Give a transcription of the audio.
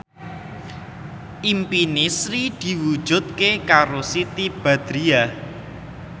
impine Sri diwujudke karo Siti Badriah